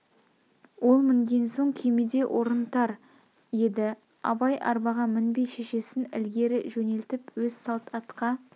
ол мінген соң күймеде орын тар еді абай арбаға мінбей шешесін ілгері жөнелтіп өз салт атқа